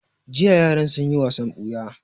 Jiya yaran sun yi wasan ɓuya